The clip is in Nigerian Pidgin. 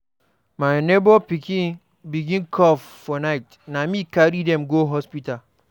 My nebor pikin begin cough for night, na me carry dem go hospital.